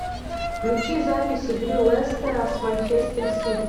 включи запись игры лестера с манчестер сити